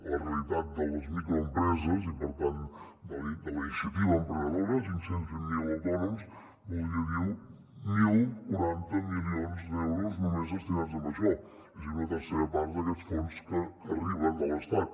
la realitat de les microempreses i per tant de la iniciativa emprenedora cinc cents i vint miler autònoms voldria dir deu quaranta milions d’euros només destinats a això és a dir una tercera part d’aquests fons que arriben de l’estat